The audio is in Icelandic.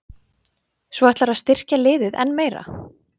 Svo ætlarðu að styrkja liðið enn meira?